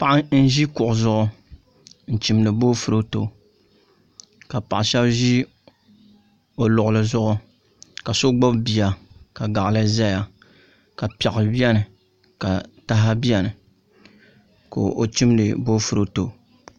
Paɣa n ʒi kuɣu zuɣu n chimdi boofurooto ka paɣa shab ʒi o luɣuli zuɣu ka so gbubi bia ka gaɣali ʒɛya ka piɛɣu biɛni ka taha biɛni ka o chimdi boofurooto